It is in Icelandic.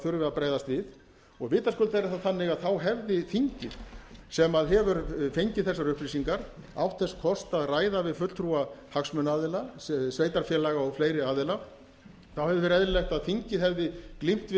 að bregðast við vitaskuld er það þá þannig að þá hefði þingið sem hefur fengið þessar upplýsingar átt þess kost að ræða við fulltrúa hagsmunaaðila sveitarfélaga og fleiri aðila þá hefði verið eðlilegt að þingið hefði glímt við